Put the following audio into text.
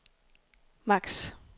max